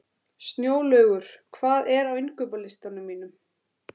Snjólaugur, hvað er á innkaupalistanum mínum?